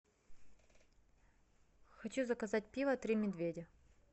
хочу заказать пиво три медведя